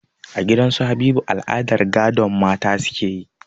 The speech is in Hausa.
A gidan su Habiba al'adar gadon mata suke yi